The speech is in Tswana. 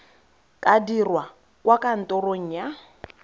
ka dirwa kwa kantorong ya